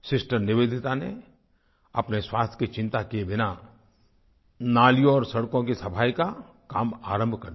sister Nivedita ने अपनी स्वास्थ्य की चिंता किए बिना नालियों और सड़कों की सफ़ाई का काम आरंभ कर दिया